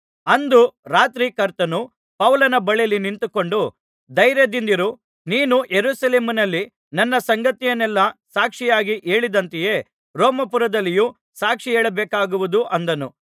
ಅಂದು ರಾತ್ರಿ ಕರ್ತನು ಪೌಲನ ಬಳಿಯಲ್ಲಿ ನಿಂತುಕೊಂಡು ಧೈರ್ಯದಿಂದಿರು ನೀನು ಯೆರೂಸಲೇಮಿನಲ್ಲಿ ನನ್ನ ಸಂಗತಿಯನ್ನೆಲ್ಲಾ ಸಾಕ್ಷಿಯಾಗಿ ಹೇಳಿದಂತೆಯೇ ರೋಮಾಪುರದಲ್ಲಿಯೂ ಸಾಕ್ಷಿಹೇಳಬೇಕಾಗುವುದು ಅಂದನು